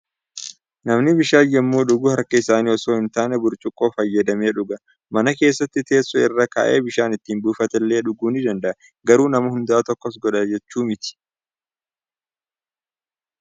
Namni bishaan yommuu dhugu harka isaan osoo hon taane, burcuqqoo fayyadamee dhuga. Mana keessatti teessoo irra kaa'ee bishaan itti buufatee dhuguu ni danda'a. Garuu nama hundatu akkas godha jechuu miti.